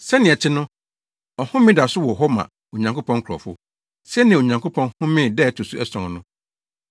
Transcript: Sɛnea ɛte no, ɔhome da so wɔ hɔ ma Onyankopɔn nkurɔfo, sɛnea Onyankopɔn homee da a ɛto so ason no.